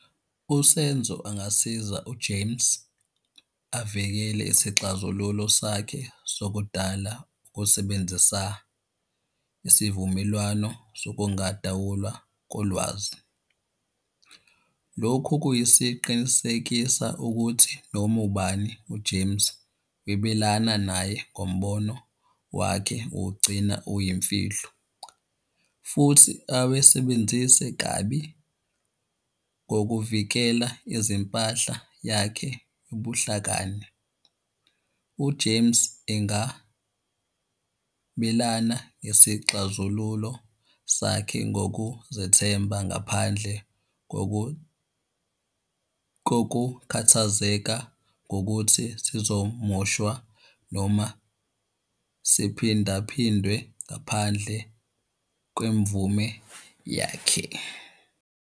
USenzo angasiza uJames avikele isixazululo sakhe sokudala ukusebenzisa isivumelwano sokungadawulwa kolwazi. Lokhu kuyisiqinisekisa ukuthi noma ubani uJames webelana naye ngombono wakhe uwugcina uyimfihlo, futhi awesebenzise kabi ngokuvikela izimpahla yakhe ubuhlakani. UJames engabelana ngesixazululo sakhe ngokuzethemba ngaphandle kokukhathazeka ngokuthi sizomoshwa noma siphinda phindwe ngaphandle kwemvume yakhe.